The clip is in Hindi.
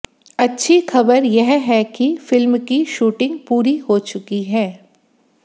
अच्छी खबर यह है कि फिल्म की शूटिंग पूरी हो चुकी है